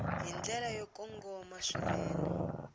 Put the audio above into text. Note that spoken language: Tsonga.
hi ndlela yo kongoma swinene